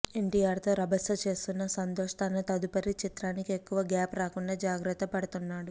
ఎన్టీఆర్తో రభస చేస్తున్న సంతోష్ తన తదుపరి చిత్రానికి ఎక్కువ గ్యాప్ రాకుండా జాగ్రత్త పడుతున్నాడు